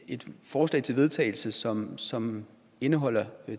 forslag til vedtagelse som som indeholder